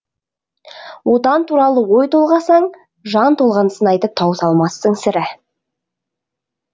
отан туралы ой толғасаң жан толғанысын айтып тауыса алмассың сірә